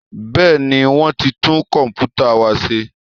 Bẹ́ẹ̀ni, wọ́n ti tún Kọ̀m̀pútà wa ṣe